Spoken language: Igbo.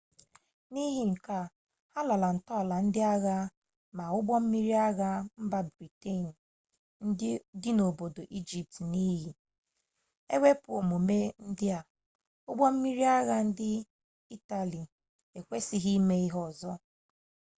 n'ihi nke a ha lara ntọala ndị agha ma ụgbọ mmiri agha mba briten dị n'obodo ijipt n'iyi ewepụ omume ndị a ụgbọ mmiri agha ndị itali ekwesịghị ime ihe ọzọ